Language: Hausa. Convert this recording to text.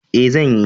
E, zan yi.